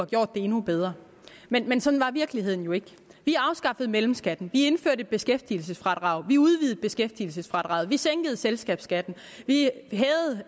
gjort det endnu bedre men men sådan var virkeligheden jo ikke vi afskaffede mellemskatten vi indførte beskæftigelsesfradraget vi udvidede beskæftigelsesfradraget vi sænkede selskabsskatten